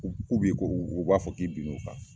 k'u k'u b'i kɔ u u b'a fɔ k'i bin'u kan.